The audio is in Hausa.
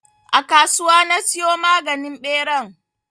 A kasuwa na siyo maganin ɓeran.